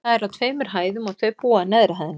Það er á tveimur hæðum, og þau búa á neðri hæðinni.